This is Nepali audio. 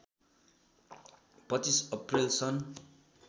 २५ अप्रैल सन्